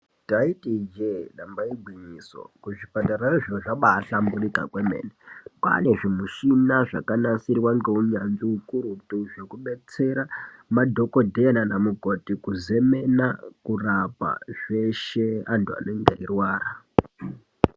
Ndaiti Ije damba igwinyiso kuzvipatara zviro zvabahlamburuka kwemene kwane zvimushina zvakabanasirwa nehunyanzvi ukurutu zvekudetsera madhokodheya nana mukoti kuzemena kurapa zveshe antu anenge eirwara.